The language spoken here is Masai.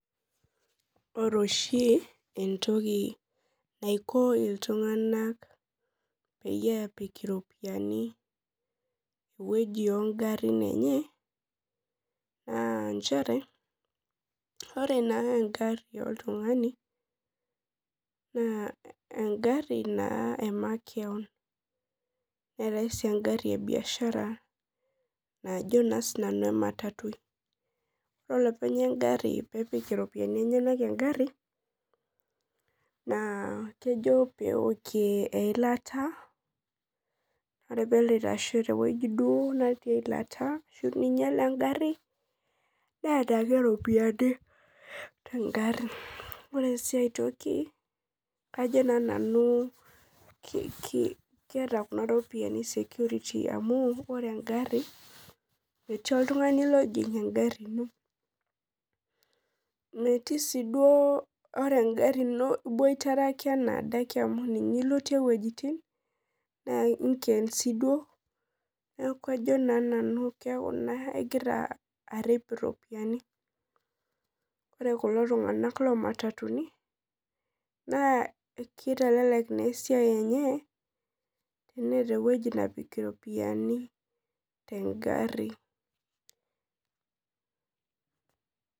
Ore oshi entiki naiko ltunganak pepik iropiyiani ewoi ongarin enye na nchere ore engari oltungani na engari emakeon neeta ei engari ebiashara najo nanu ematatu ore engari pipik iropiyiani enyenak engari na kejo peokie eilata ashu pinyala engaru neetae ropiyani tengari ore si aitoki kajo nanu keeta security amu ore engari metii oltungani ojing engaru ino metii si duo ore engari ino iboirare metii oltungani ojing engari ino neaku kajo sinanu ingira arip iropiyiani ore kulo tunganak lomatatuni na kitelelek na esiai enye teneata ewoi napik iropiyiani tengari.